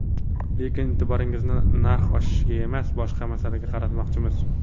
Lekin e’tiboringizni narx oshishiga emas, boshqa masalaga qaratmoqchimiz.